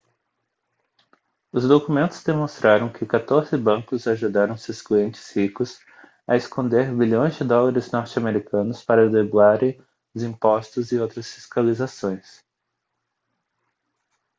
os documentos demonstraram que quatorze bancos ajudaram seus clientes ricos a esconder bilhões de dólares norte-americanos para driblarem os impostos e outras fiscalizações